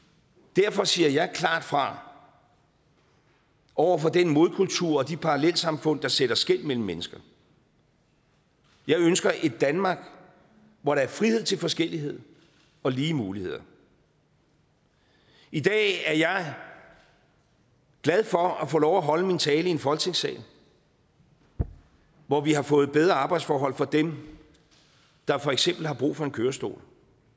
derfor siger jeg klart fra over for den modkultur og de parallelsamfund der sætter skel mellem mennesker jeg ønsker et danmark hvor der er frihed til forskellighed og lige muligheder i dag er jeg glad for at få lov til at holde min tale i en folketingssal hvor vi har fået bedre arbejdsforhold for dem der for eksempel har brug for en kørestol